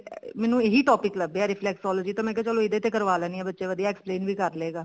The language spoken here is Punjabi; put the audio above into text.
ਮੈਨੂੰ ਇਹੀ topic ਲੱਭਿਆ reflexology ਤੇ ਮੈਂ ਕਿਹਾ ਚਲੋ ਇਹਦੇ ਤੇ ਕਰਵਾ ਲੈਂਦੀ ਹਾਂ ਬੱਚਾ ਵਧੀਆ explain ਵੀ ਕਰ ਲਵੇਗਾ